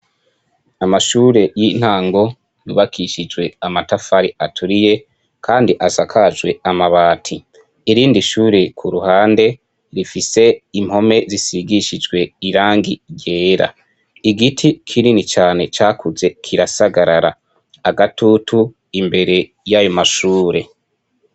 Amashure y'intango, yubakishijwe amatafari aturiye, kandi asakajwe amabati. Irindi shure ku ruhande, rifise impome zisigishijwe irangi ryera. Igiti kinini cane cakuze kirasagarara; agatutu imbere y'ayo mashure.